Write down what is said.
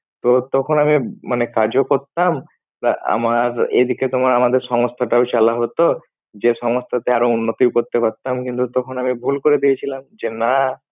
তো তখন আমি মানে কাজও করতাম, তা আমার এদিকে তোমার আমাদের সংস্থাটাও চালা হতো যে সংস্থাতে আরো বেশি উন্নতি করতে পারতাম তো তখন আমি ভুল করে দিয়েছিলাম। যে না